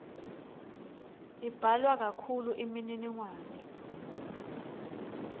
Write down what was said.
imbalwa kakhulu imininingwane